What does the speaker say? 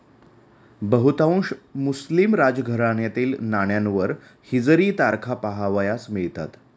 बहुतांश मुस्लिम राजघराण्यातील नाण्यांवर हिजरी तारखा पाहावयास मिळतात.